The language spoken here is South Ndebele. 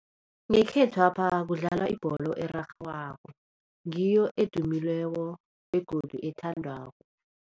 Ngekhethwapha kudlalwa ibholo erarhwako, ngiyo edumileko begodu ethandwako.